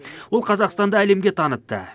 ол қазақстанды әлемге танытты